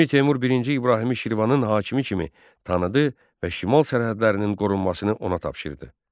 Əmir Teymur birinci İbrahimi Şirvanın hakimi kimi tanıdı və şimal sərhədlərinin qorunmasını ona tapşırdı.